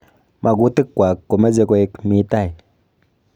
Makutik kwaak komeche koek mi tai.